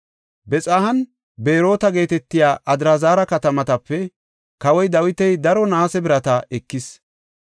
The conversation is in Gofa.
Bexahanne Beroota geetetiya Adraazara katamatape kawoy Dawiti daro naase birata ekis.